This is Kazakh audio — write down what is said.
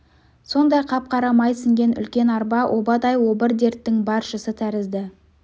сондай қап-қара май сіңген үлкен арба обадай обыр дерттің баршысы тәрізді